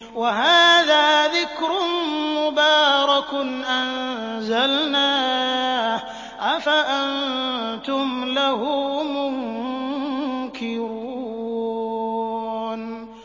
وَهَٰذَا ذِكْرٌ مُّبَارَكٌ أَنزَلْنَاهُ ۚ أَفَأَنتُمْ لَهُ مُنكِرُونَ